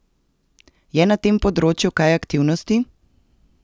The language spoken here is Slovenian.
Je na tem področju kaj aktivnosti?